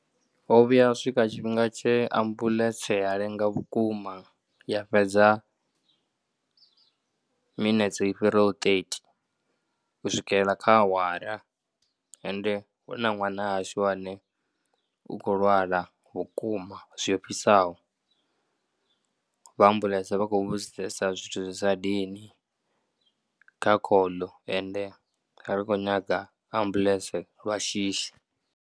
Ho vhuya swika tshifhinga tshe ambuḽentse a lenga vhukuma ya fhedza minetse i fhiraho ṱethi u swikela kha awara ende hu na ṅwana wa hashu ane u khou lwala vhukuma zwi ofhisaho. Vha ambuḽentse vha khou vhudzisesa zwithu zwi sa dini kha call ende ri kho nyaga ambuḽentse lwa shishi.